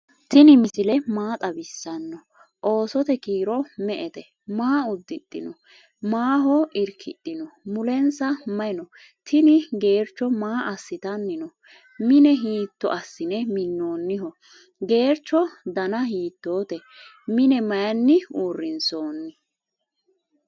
tiini misile maa xawisano? oosote kiiro me"ete? maa udidhino? maaho irkidhino? mulensa mayi noo? tini gerecho maa asitanni no?mine hitto asine minoniho? gerecho dana hitote? mine mayini urinsoni?